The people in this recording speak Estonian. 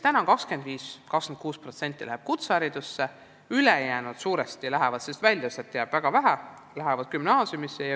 25–26% läheb kutseharidusse, ülejäänud lähevad suuresti – välja jääb sealt väga vähe – gümnaasiumisse.